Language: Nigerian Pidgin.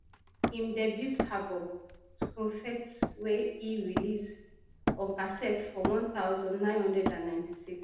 im debut album skumfete wey e release on cassette for one thousand, nine hundred and ninety-six